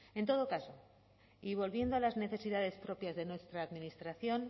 en todo caso y volviendo a las necesidades propias de nuestra administración